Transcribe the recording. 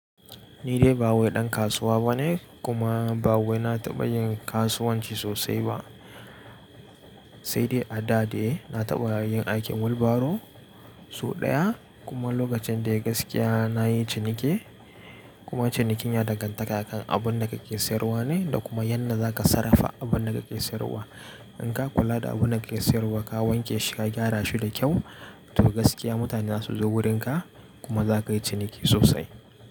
Ni dai ba wai ɗan kasuwa bane, kuma ba wai na taɓa yin kasuwanci sosai ba, sai dai a da dai na taɓa yin aikin wilbaro sau ɗaya kuma lokacin da ya gaskiya na yi ciniki kuma cinikin ya danganta akan abun da kake sayarwa ne da kuma yadda za ka sarrafa abun da kake sayarwa. In ka kula da abun da kake sayarwa, ka wanke shi ka gyara shi da kyau, to gaskiya mutane za su zo wurinka kuma za ka yi ciniki sosai.